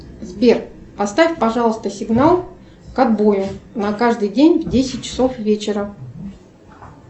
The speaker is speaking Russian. сбер поставь пожалуйста сигнал к отбою на каждый день в десять часов вечера